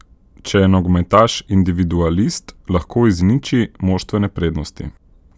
Če je nogometaš individualist, lahko izniči moštvene prednosti.